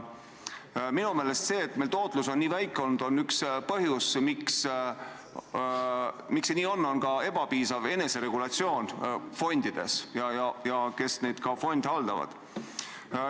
Minu meelest üks põhjus, miks meil tootlus on olnud nii väike, on ebapiisav eneseregulatsioon fondides ja ka nende puhul, kes fonde haldavad.